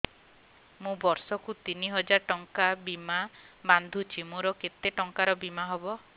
ମୁ ବର୍ଷ କୁ ତିନି ହଜାର ଟଙ୍କା ବୀମା ବାନ୍ଧୁଛି ମୋର କେତେ ଟଙ୍କାର ବୀମା ହବ